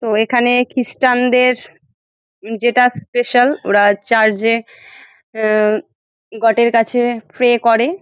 তো এখানে ক্রিস্টানদের যেটা স্পেশাল ওরা চার্চ -এ অ্যা গট -এর কাছে প্রে করে ।